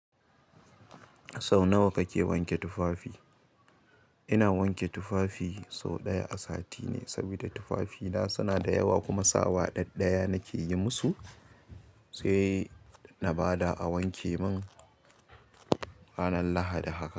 Sau nawa kake wanke tufafi? Ina wanke tufafi sau ɗaya a sati ne, sabida tufafina suna da yawa kuma sawa ɗaɗɗaya nake yi musu. Sai na ba da a wanke min ranar Lahadi haka.